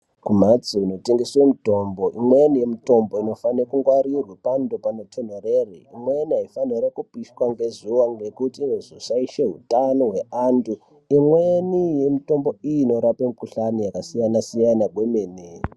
Kumhatso inotengeswe mutombo imweni yemitombo inofane kungwarirwa pando panotonhorere. Imweni haifanirwi kupiswa ngezuva ngekuti inozoshaishe hutano hweantu. Imweni yemitombo iyi inorape mikuhlani yakasiyana siyana kwemene.